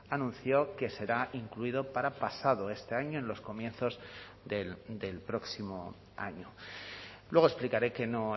anunció que será incluido para pasado este año en los comienzos del próximo año luego explicaré que no